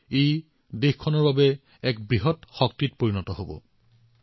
এইটোও ৰাষ্ট্ৰৰ এক মহান শক্তি হিচাপে উদ্ভাসিত হৈ উঠিব